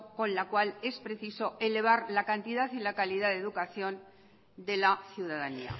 con la cual es preciso elevar la cantidad y la calidad de educación de la ciudadanía